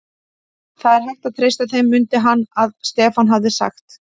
Það er hægt að treysta þeim, mundi hann að Stefán hafði sagt.